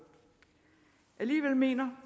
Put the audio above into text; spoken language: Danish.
alligevel mener